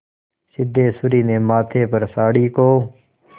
सिद्धेश्वरी ने माथे पर साड़ी को